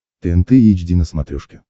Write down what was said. тнт эйч ди на смотрешке